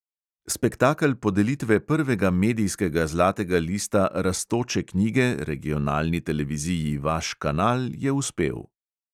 Spektakel podelitve prvega medijskega zlatega lista rastoče knjige regionalni televiziji vaš kanal je uspel.